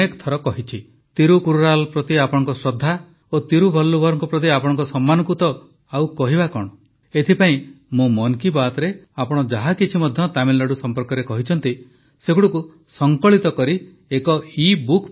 ତିରୁକ୍କୁରାଲ ପ୍ରତି ଆପଣଙ୍କ ଶ୍ରଦ୍ଧା ଓ ତିରୁଭଲ୍ଲୁଭରଙ୍କ ପ୍ରତି ଆପଣଙ୍କ ସମ୍ମାନକୁ ତ ଆଉ କହିବା କଣ ଏଥିପାଇଁ ମୁଁ ମନ୍ କୀ ବାତ୍ରେ ଆପଣ ଯାହା କିଛି ମଧ୍ୟ ତାମିଲନାଡୁ ସମ୍ପର୍କରେ କହିଛନ୍ତି ସେଗୁଡ଼ିକୁ ସଂକଳିତ କରି ଏକ ଇବୁକ୍ ପ୍ରସ୍ତୁତ କରିଛି